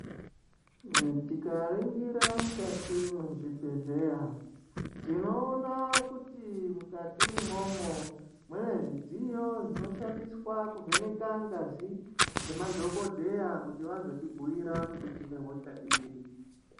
Tikaningira mukati mezvibhedhlera tinoona kuti mukati imwomwo mune zvidziyo zvinoshandiswa kuvheneka ngazi ngemadhokodheya kuti vazotibhuira kuti tinehosha iri.